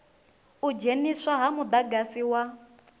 u dzheniswa ha mudagasi wa